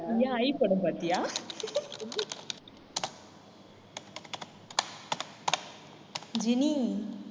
ஏன் ஐ படம் பார்த்தியா ஜெனி